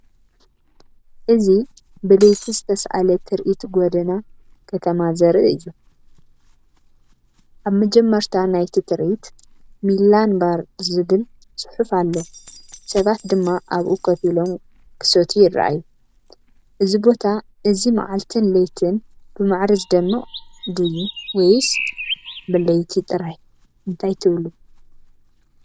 እዚ ብለይቲ ዝተሳእለ ትርኢት ጎደና ከተማ ዘርኢ እዩ። ኣብ መጀመርታ ናይቲ ትርኢት፡ "ሚላን ባር" ዝብል ጽሑፍ ኣሎ፡ ሰባት ድማ ኣብኡ ኮፍ ኢሎም፡ ክሰትዩ ይረኣዩ። እዚ ቦታ እዚ መዓልትን ለይትን ብማዕረ ዝደምቅ ድዩ? ወይስ ብለይቲ ጥራይ? እንታይ ትብሉ?